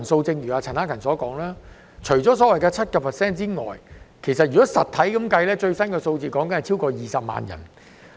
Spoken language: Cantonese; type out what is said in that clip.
正如陳克勤議員所說，除失業率約 7% 外，實質的失業人數超過20萬人。